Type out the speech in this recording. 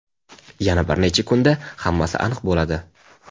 yana bir necha kunda hammasi aniq bo‘ladi.